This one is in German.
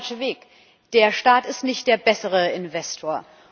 Das ist der falsche Weg, der Staat ist nicht der bessere Investor.